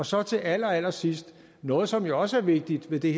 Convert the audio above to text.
så til allerallersidst noget som jo også er vigtigt ved det